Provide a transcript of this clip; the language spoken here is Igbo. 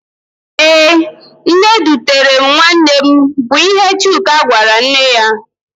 Ee, nne edutere m nwanne mụ bụ ihe Chuka gwara nne ya.